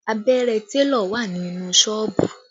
Abẹ́rẹ́ télọ̀ wà ní inú Ṣọ́ọ̀bù